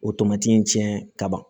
O tomati in cɛn ka ban